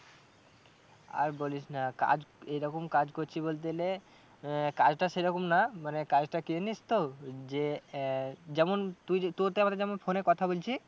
আর বলিস না কাজ এরকম কাজ করছি বলতে গেলে আহ কাজটা সেরকম না মানে কাজটা কি জানিস তো যে আহ যেমন তুই তোরতে আমাতে যেমন phone এ কথা বলছি